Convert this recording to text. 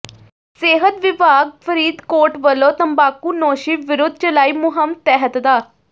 ਸਿਹਤ ਵਿਭਾਗ ਫਰੀਦਕੋਟ ਵੱਲੋਂ ਤੰਬਾਕੂਨੋਸ਼ੀ ਵਿਰੁੱਧ ਚਲਾਈ ਮੁਹਿੰਮ ਤਹਿਤ ਡਾ